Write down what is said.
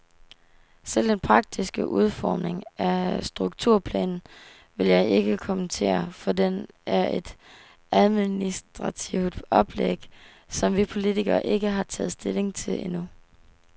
Selve den praktiske udformning af strukturplanen vil jeg ikke kommentere, for den er et administrativt oplæg, som vi politikere ikke har taget stilling til endnu.